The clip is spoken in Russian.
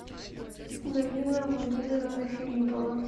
галина владимировна филиппова